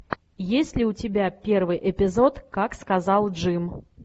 есть ли у тебя первый эпизод как сказал джим